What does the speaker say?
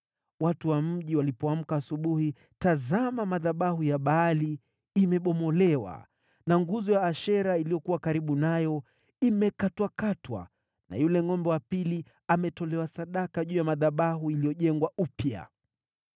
Watu wa mji walipoamka asubuhi, tazama madhabahu ya Baali imebomolewa na nguzo ya Ashera iliyokuwa karibu nayo imekatwakatwa na yule ngʼombe wa pili ametolewa sadaka juu ya madhabahu yaliyojengwa upya!